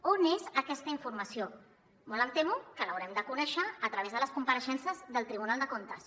on és aquesta informació molt em temo que l’haurem de conèixer a través de les compareixences del tribunal de comptes